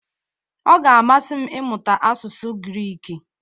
Ọ ga-amasị m ịmụta asụsụ Griiki.